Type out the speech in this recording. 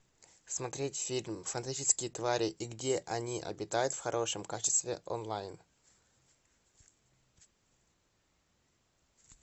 смотреть фильм фантастические твари и где они обитают в хорошем качестве онлайн